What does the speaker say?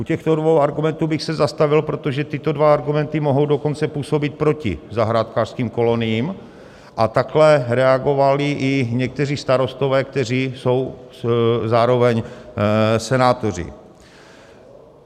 U těchto dvou argumentů bych se zastavil, protože tyto dva argumenty mohou dokonce působit proti zahrádkářským koloniím, a takto reagovali i někteří starostové, kteří jsou zároveň senátoři.